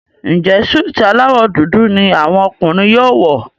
Njé Súìtì alawọ dúdú ní àwọn ọkùnrin yóò wọ?